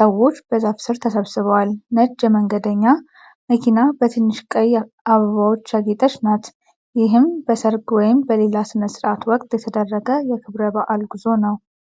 ሰዎች በዛፍ ሥር ተሰብስበዋል። ነጭ የመንገደኛ መኪና በትንሽ ቀይ አበባዎች ያጌጠች ናት። ይህም በሠርግ ወይም በሌላ ሥነ ሥርዓት ወቅት የተደረገ የክብረ በዓል ጉዞ ነው።